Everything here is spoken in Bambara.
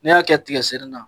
N'i y'a kɛ tiga senni na